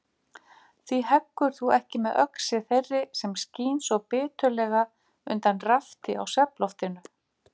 Hví heggur þú ekki með öxi þeirri sem skín svo biturlega undan rafti á svefnloftinu?